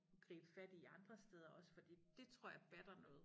Gribe fat i andre steder også fordi dét tror jeg det batter noget